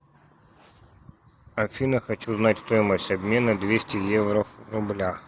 афина хочу знать стоимость обмена двести евро в рублях